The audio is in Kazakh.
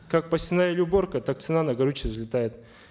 как посевная или уборка так цена на горючее взлетает